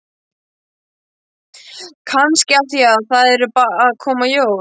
Kannski af því að það eru að koma jól.